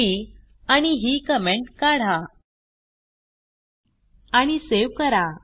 ही आणि ही कमेंट काढा आणि सेव्ह करा